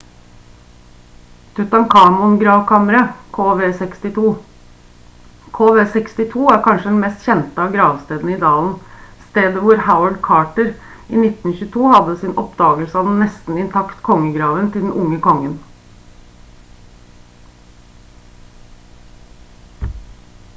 tutankhamon-gravkammeret kv62. kv62 er kanskje den mest kjente av gravstedene i dalen stedet hvor howard carter i 1922 hadde sin oppdagelse av den nesten intakt kongegraven til den unge kongen